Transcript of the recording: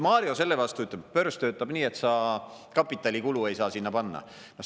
Mario selle vastu ütleb, et börs töötab nii, et sa kapitalikulu ei saa sinna panna.